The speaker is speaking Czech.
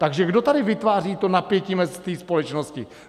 Takže kdo tady vytváří to napětí v té společnosti?